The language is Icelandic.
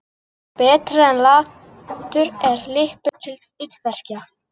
Betri er latur en lipur til illverka.